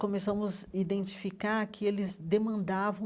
Começamos a identificar que eles demandavam